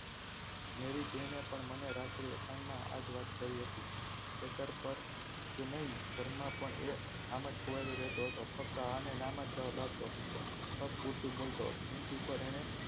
મેરી જેને પણ મને રાત્રે એકાંત માંઆજ વાત કરી હતી ખેતર પરજ નય ઘરમાં પણ એ આમજ ખોવાયેલો રહેતો ફક્ત હા અને નાં માં જવાબ આપતો પૂરતું બોલતો ભીંત ઉપર અને